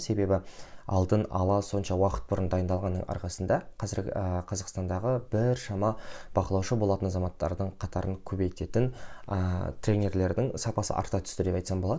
себебі алдын ала сонша уақыт бұрын дайындалғанның арқасында қазіргі ы қазақстандағы біршама бақылаушы болатын азаматтардың қатарын көбейтетін ыыы тренерлердің сапасы арта түсті деп айтсам болады